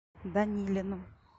данилину